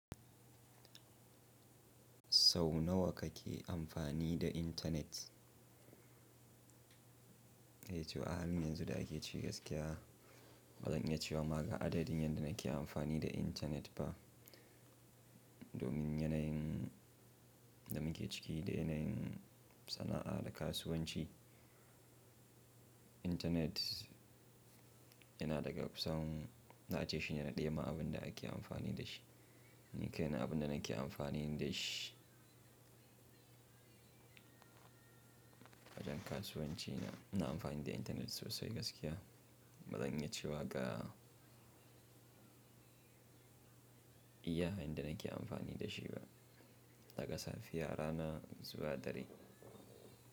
Sau nawa kake amfani da intanet? Eh to a halin yanzu da ake ciki gaskiya bazan iya cewa ma ga adadin yadda nake amfani da intanet ba. Domin yanayin da muke ciki da yanayin sana'a da kasuwanci, intanet yana daga kusan na ce shine na ɗaya ma abin da ake amfani da shi. Nikai na abin da nake amfani da shi awajen kasuwanci na, ina amfani da intanet sosai gaskiya. Bazan iya cewa ga iya hanyar da nake amfani da shi ba. Daga safiya rana zuwa dare.